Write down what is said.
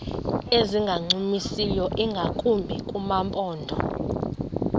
ezingancumisiyo ingakumbi kumaphondo